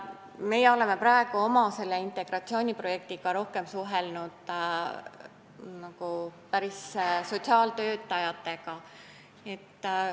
Meie oleme praegu oma integratsiooniprojekti käigus rohkem suhelnud päris sotsiaaltöötajatega.